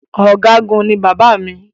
Ọ̀̀gágun ní bàbá mi.